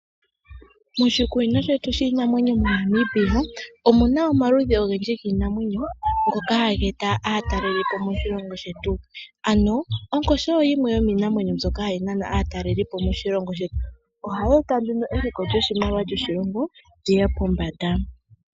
Moshikunino shetu shiinamwenyo shetu moNamibia omu na omaludhi ogendji giinamwenyo ngoka haga eta aatalelipo moshilongo shetu. Ano onkoshi oyo yimwe yomiinamwenyo mbyoka hayi nana aatalelipo moshilongo shetu. Ohayi eta nduno eliko lyoshimaliwa lyoshilongo li ye pombanda.